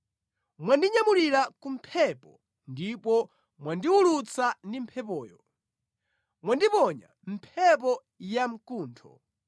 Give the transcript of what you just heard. Mwandinyamulira ku mphepo ndipo mwandiwulutsa ndi mphepoyo; mwandiponya mʼmphepo ya mkuntho.